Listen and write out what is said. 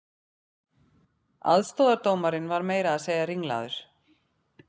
Aðstoðardómarinn var meira að segja ringlaður